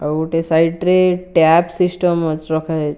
ଆଉ ଗୋଟେ ସାଇଡ ରେ ଟ୍ୟାପ ସିଷ୍ଟମ୍ ଅଛ ରଖା ଯାଇଛି।